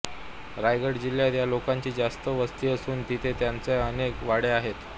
रायगड जिल्ह्यात या लोकांची जास्त वस्ती असून तिथे त्यांच्या अनेक वाड्या आहेत